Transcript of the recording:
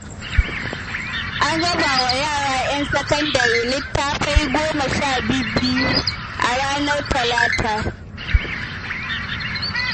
An raba wa yara 'yan sakandare littattafai goma sha bi-biyu a ranar Talata